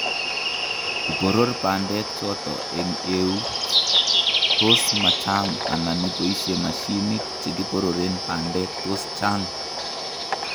iboror bandek chotok eng' euut tos ma chang' anan iboisye mashinik che kibororen bandek tos chang'